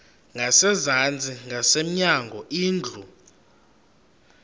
ngasezantsi ngasemnyango indlu